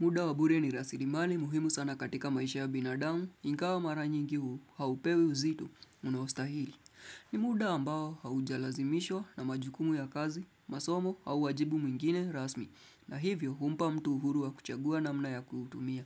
Muda wa bure ni rasilimali muhimu sana katika maisha ya binadamu, ingawa mara nyingi huu, haupewi uzito. Unaoastahili. Ni muda ambao haujalazimishwa na majukumu ya kazi, masomo au wajibu mwingine rasmi, na hivyo humpa mtu uhuru wa kuchagua namna ya kutumia.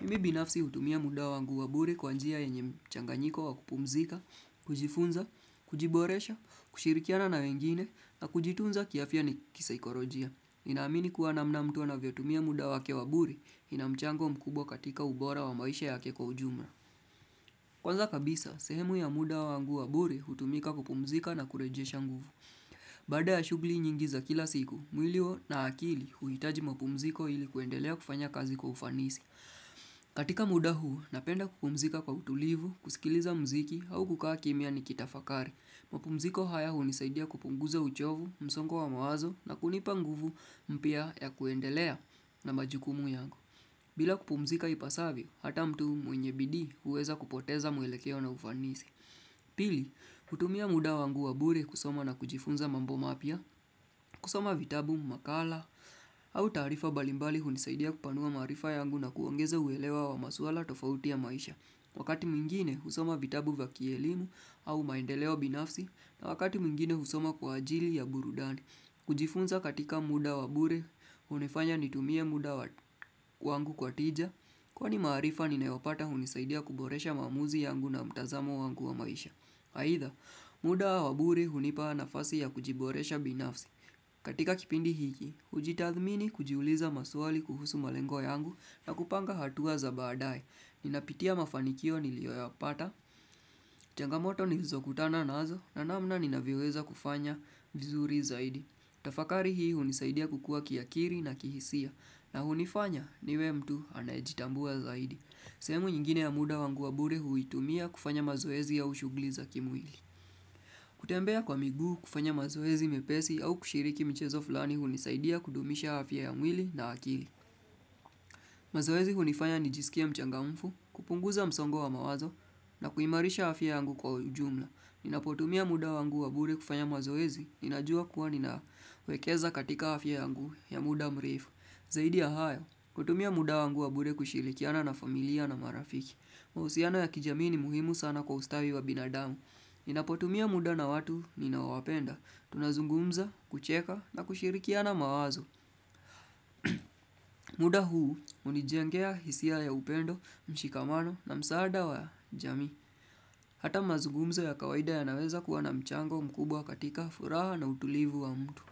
Mimi binafsi hutumia muda wangu wabure kwa njia yenye mchanganyiko wa kupumzika, kujifunza, kujiboresha, kushirikiana na wengine, na kujitunza kiafya na kisaikorojia. Ninaamini kuwa namna mtu anavyotumia muda wake wa bure, ina mchango mkubwa katika ubora wa maisha yake kwa ujumla. Kwanza kabisa, sehemu ya muda wangu wa bure hutumika kupumzika na kurejesha nguvu. Baada ya shughuli nyingi za kila siku, mwili na akili huhitaji mapumziko ili kuendelea kufanya kazi kwa ufanisi. Katika muda huu, napenda kupumzika kwa utulivu, kusikiliza mziki au kukaa kimya ni kitafakari. Mapumziko haya hunisaidia kupunguza uchovu, msongo wa mawazo na kunipa nguvu mpya ya kuendelea na majukumu yangu. Bila kupumzika ipasavyo, hata mtu mwenye bidii huweza kupoteza mwelekeo na ufanisi. Pili, kutumia muda wangu wa bure kusoma na kujifunza mambo mapya kusoma vitabu, makala, au taarifa mbalimbali hunisaidia kupanua maarifa yangu na kuongeza uelewa wa masuala tofauti ya maisha Wakati mwingine, husoma vitabu vya kielimu au maendeleo binafsi na wakati mwingine, husoma kwa ajili ya burudani kujifunza katika muda wa bure, hunifanya nitumie muda wangu kwa tija Kwani maarifa, ninayopata hunisaidia kuboresha maamuzi yangu na mtazamo wangu wa maisha aidha, muda wa bure hunipa nafasi ya kujiboresha binafsi. Katika kipindi hiki, hujitathmini kujiuliza maswali kuhusu malengo yangu na kupanga hatua za baadae. Ninapitia mafanikio nilioyapata, changamoto nizokutana nazo na namna ninavyoweza kufanya vizuri zaidi. Tafakari hii hunisaidia kukua kiakili na kihisia na hunifanya niwe mtu anayejitambua zaidi. Sehemu nyingine ya muda wangu wa bure huitumia kufanya mazoezi au shughuli za kimwili. Kutembea kwa miguu kufanya mazoezi mepesi au kushiriki michezo fulani hunisaidia kudumisha afya ya mwili na akili. Mazoezi hunifanya nijisikie mchangamfu, kupunguza msongo wa mawazo na kuimarisha afya yangu kwa ujumla. Ninapotumia muda wangu wa bure kufanya mazoezi ninajua kuwa ninawekeza katika afya yangu ya muda mrefu. Zaidi ya hayo, kutumia muda wangu wa bure kushirikiana na familia na marafiki. Mahusiano ya kijamii ni muhimu sana kwa ustawi wa binadamu. Ninapotumia muda na watu ninaowapenda. Tunazungumza, kucheka na kushirikiana mawazo. Muda huu, hunijengea hisia ya upendo, mshikamano na msaada wa jamii. Hata mazugumzo ya kawaida yanaweza kuwa na mchango mkubwa katika furaha na utulivu wa mtu.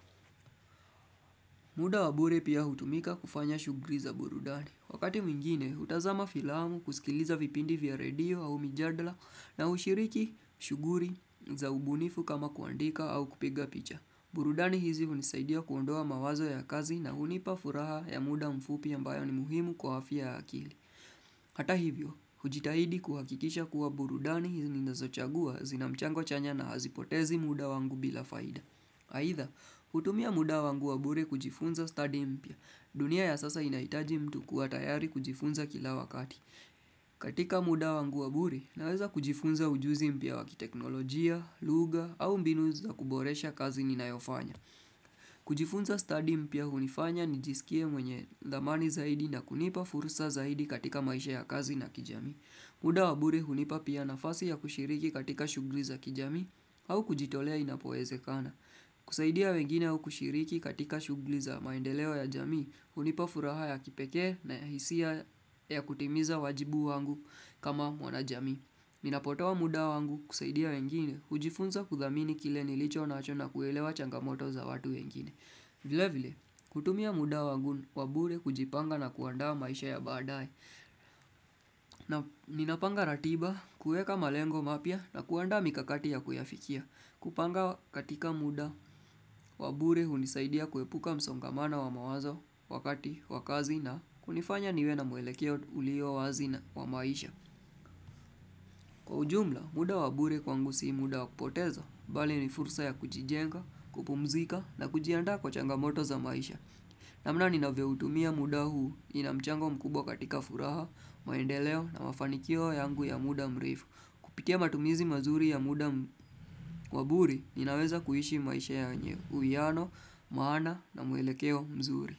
Muda wa bure pia hutumika kufanya shughuli za burudani. Wakati mwingine, hutazama filamu kusikiliza vipindi vya radio au mijadala na hushiriki shughuli za ubunifu kama kuandika au kupiga picha. Burudani hizi hunisaidia kuondoa mawazo ya kazi na hunipa furaha ya muda mfupi ambayo ni muhimu kwa afya ya akili. Hata hivyo, hujitahidi kuhakikisha kuwa burudani hizi ninazochagua zinamchango chanya na hazipotezi muda wangu bila faida. Aidha, hutumia muda wangu wabure kujifunza study mpya. Dunia ya sasa inahitaji mtu kuwa tayari kujifunza kila wakati. Katika muda wangu wa bure, naweza kujifunza ujuzi mpya wa kiteknolojia, lugha au mbinu za kuboresha kazi ninayofanya. Kujifunza study mpya hunifanya nijisikie mwenye dhamani zaidi na kunipa furusa zaidi katika maisha ya kazi na kijami muda wa bure hunipa pia nafasi ya kushiriki katika shughuli za kijamii au kujitolea inapowezekana kusaidia wengine au kushiriki katika shughuli za maendeleo ya jamii hunipa furaha ya kipekee na ya hisia ya kutimiza wajibu wangu kama wanajamii Ninapotoa muda wangu kusaidia wengine, hujifunza kudhamini kile nilicho nacho na kuelewa changamoto za watu wengine. Vile vile, kutumia muda wangu wa bure kujipanga na kuandaa maisha ya badae. Na ninapanga ratiba, kuweka malengo mapya na kuandaa mikakati ya kuyafikia. Kupanga katika muda, wa bure hunisaidia kuepuka msongamano wa mawazo wakati, wa kazi na hunifanya niwe na mwelekeo ulio wazi na wa maisha. Kwa ujumla, muda wa bure kwangu si muda wa kupoteza, bali ni fursa ya kujijenga, kupumzika na kujiandaa kwa changamoto za maisha. Namna ninavyoutumia muda huu, ina mchango mkubwa katika furaha, maendeleo na mafanikio yangu ya muda mrefu. Kupitia matumizi mazuri ya muda wa bure, ninaweza kuishi maisha yenye uwiano, maana na mwelekeo mzuri.